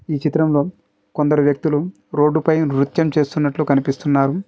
ఈ చిత్రంలో కొందరు వ్యక్తులు రోడ్డుపై నృత్యం చేస్తున్నట్లు కనిపిస్తున్నారు.